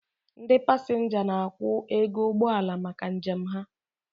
Ndị pasenga n'akwu ego ụgbọala maka njem ha